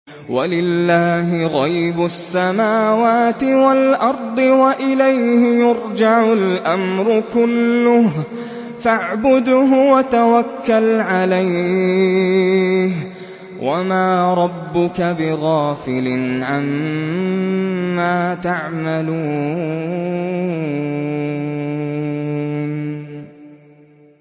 وَلِلَّهِ غَيْبُ السَّمَاوَاتِ وَالْأَرْضِ وَإِلَيْهِ يُرْجَعُ الْأَمْرُ كُلُّهُ فَاعْبُدْهُ وَتَوَكَّلْ عَلَيْهِ ۚ وَمَا رَبُّكَ بِغَافِلٍ عَمَّا تَعْمَلُونَ